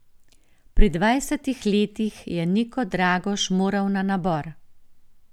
Pri dvajsetih letih je Niko Dragoš moral na nabor.